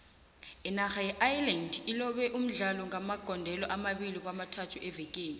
inarha yeireland ilobe umdlalo ngamagondelo amabili kwamathathu evekeni